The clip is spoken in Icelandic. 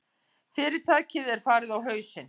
Fyrirtækið er farið á hausinn.